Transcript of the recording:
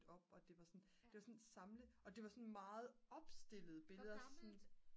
op og det var sådan det var sådan samle og det var sådan meget opstillede billeder